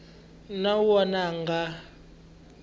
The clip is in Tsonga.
na un wana a nga